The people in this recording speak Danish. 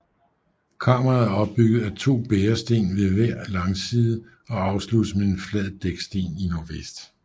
Kammeret er opbygget af to bæresten ved hver langside og afsluttes med en flad dæksten i nordvest